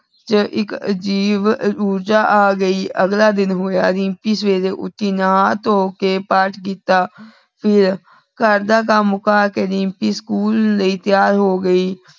ਇਕ ਅਜੀਬ ਊਰਜਾ ਆ ਗਈ। ਅਗਲਾ ਦਿਨ ਹੋਯਾ ਰਿਮਪੀ ਸਵੇਰੇ ਉਠੀ, ਨਹਾ ਧੋ ਕੇ ਪਾਠ ਕੀਤਾ ਤੇ ਫੇਰ ਘਰ ਦਾ ਕਮ ਮੁਕਾ ਕੇ ਦਿਮ੍ਪੀ ਸਕੂਲ ਲੈ ਤਿਆਰ ਹੋਗੀ।